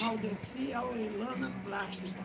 Valdecia Aurelana Plácida.